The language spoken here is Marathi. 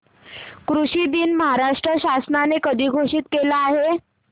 कृषि दिन महाराष्ट्र शासनाने कधी घोषित केला आहे